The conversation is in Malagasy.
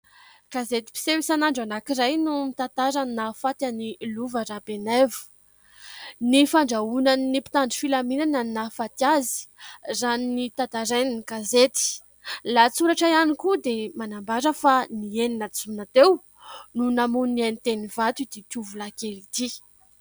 Gazetim-piseho isan'andro anakiray no mitantara ny nahafaty an'i Lova RABENAIVO. Ny fandrahonan'ny mpitandro filaminana no nahafaty azy raha notantarain'ny gazety. Ny lahatsoratra ihany koa dia manambara fa ny enina jona teo no namoy ny ainy teny Ivato ity tovolahy kely ity.